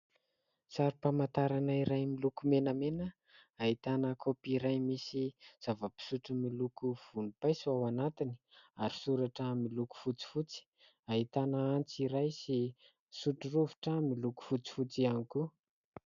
Sarim-pamantarana iray miloko menamena, ahitana kaôpy iray misy zava-pisotro miloko volom-paiso ao anatiny, ary soratra miloko fotsifotsy. Ahitana antsy iray sy sotrorovitra miloko fotsifotsy ihany koa.